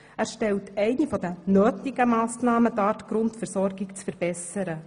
Er stellt eine der notwendigen Massnahmen dar, um die Grundversorgung zu verbessern.